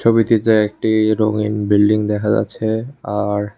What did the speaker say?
we দিকে একটি রঙিন বিল্ডিং দেখা যাচ্ছে আর--